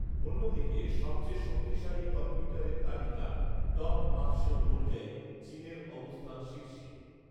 অন্যদিকে, সবচেয়ে শক্তিশালী কম্পিউটারের তালিকা ‘টপ পাঁচশো’ অনুযায়ী, চীনের অবস্থান শীর্ষে